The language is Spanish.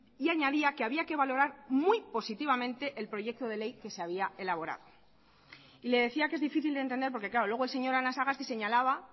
y añadía que había que valorar muy positivamente el proyecto de ley que se había elaborado y le decía que es difícil de entender porque claro luego el señor anasagasti señalaba